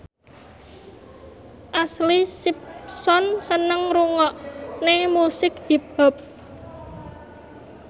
Ashlee Simpson seneng ngrungokne musik hip hop